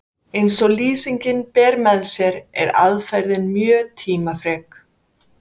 eins og lýsingin ber með sér er aðferðin mjög tímafrek